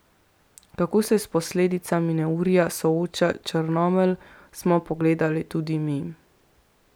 Kako se s posledicami neurja sooča Črnomelj, smo pogledali tudi mi.